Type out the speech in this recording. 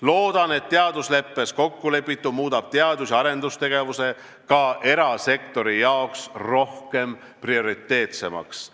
Loodan, et teadusleppes kokkulepitu muudab teadus- ja arendustegevuse ka erasektori jaoks prioriteetsemaks.